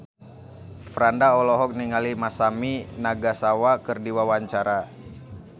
Franda olohok ningali Masami Nagasawa keur diwawancara